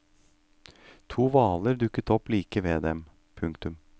To hvaler dukker opp like ved dem. punktum